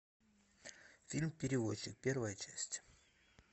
фильм перевозчик первая часть